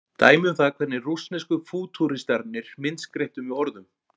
Dæmi um það hvernig rússnesku fútúristarnir myndskreyttu með orðum.